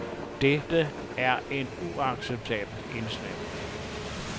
Dette er en uacceptabel indsnævring.